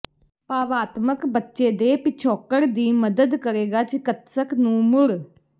ਭਾਵਾਤਮਕ ਬੱਚੇ ਦੇ ਪਿਛੋਕੜ ਦੀ ਮਦਦ ਕਰੇਗਾ ਿਚਿਕਤਸਕ ਨੂੰ ਮੁੜ